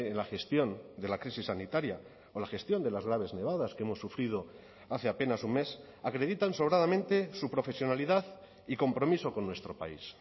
la gestión de la crisis sanitaria o la gestión de las graves nevadas que hemos sufrido hace apenas un mes acreditan sobradamente su profesionalidad y compromiso con nuestro país